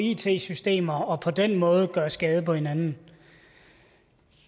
i it systemerne og på den måde gøre skade på hinanden